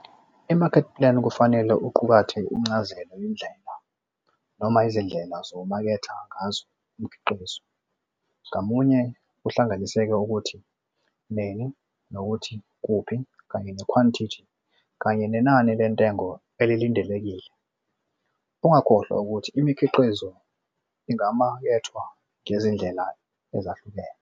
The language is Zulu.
I-market plan kufanele uqukathe incazelo yendlela noma izindlela ozomaketha ngazo umkhiqizo ngamunye kuhlanganise nokuthi nini nokuthi kuphi kanye nekhwantithi kanye nenani lentengo elilindelekile. Ungakhohlwa ukuthi imikhiqizo ingamakethwa ngezindlela ezahlukene.